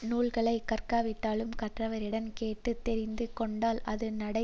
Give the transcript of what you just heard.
நூல்களை கற்காவிட்டாலும் கற்றவரிடம் கேட்டு தெரிந்து கொண்டால் அது நடை